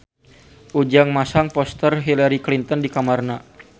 Ujang masang poster Hillary Clinton di kamarna